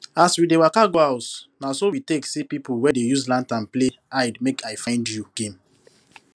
as we dey waka go house na so we take see pipu wey dey use lantern play hidemakeifindyou game